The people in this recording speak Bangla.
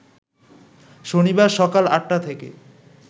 শনিবার সকাল ৮টা থেকে